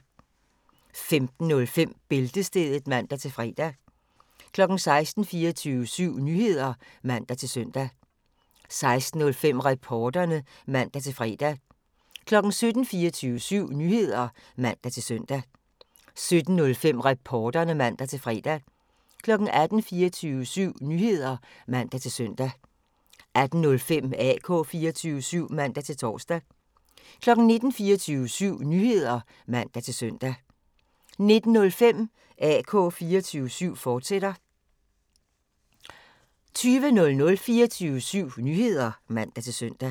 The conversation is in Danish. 15:05: Bæltestedet (man-fre) 16:00: 24syv Nyheder (man-søn) 16:05: Reporterne (man-fre) 17:00: 24syv Nyheder (man-søn) 17:05: Reporterne (man-fre) 18:00: 24syv Nyheder (man-søn) 18:05: AK 24syv (man-tor) 19:00: 24syv Nyheder (man-søn) 19:05: AK 24syv, fortsat (man-tor) 20:00: 24syv Nyheder (man-søn)